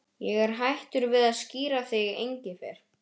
Ég er hættur við að skíra þig Engifer.